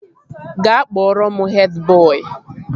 Ga kpọrọ m hed bọị!